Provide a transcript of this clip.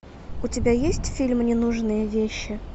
у тебя есть фильм ненужные вещи